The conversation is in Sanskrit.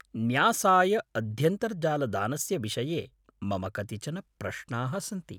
न्यासाय अध्यन्तर्जालदानस्य विषये मम कतिचन प्रश्नाः सन्ति।